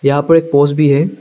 यहां पर एक पोज भी है।